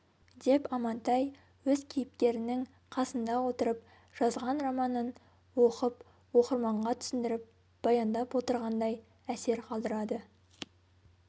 деп амантай өз кейіпкерінің қасында отырып жазған романын оқып оқырманға түсіндіріп баяндап отырғандай әсер қалдырады